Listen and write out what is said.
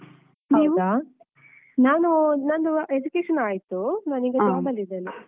ಹೌದಾ? ನಾನೂ ನಂದು education ಆಯ್ತು. ನಾನೀಗ job ಅಲ್ಲಿ ಇದ್ದೇನೆ.